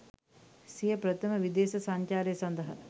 සිය ප්‍රථම විදේශ සංචාරය සඳහා